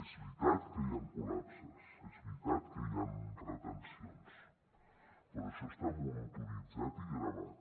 és veritat que hi han col·lapses és veritat que hi han retencions però això està monitoritzat i gravat